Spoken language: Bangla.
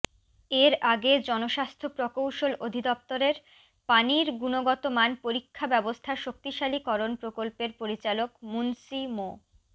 এর আগে জনস্বাস্থ্য প্রকৌশল অধিদপ্তরের পানির গুণগতমান পরীক্ষা ব্যবস্থা শক্তিশালীকরণ প্রকল্পের পরিচালক মুন্সি মো